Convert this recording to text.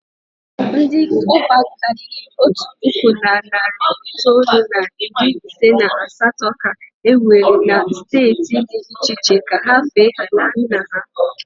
Ndị cọpa karịrị otu puku na narị itoolu na iri ise na asatọ ka e were na steeti dị iche iche ka ha fee ala nna ha.